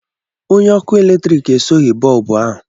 Onye ọkụ eletrik esoghị bọlbụ ahụ.